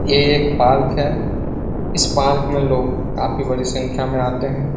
ये एक पार्क है इस पार्क मे लोग काफी बड़ी संख्या मे आते है।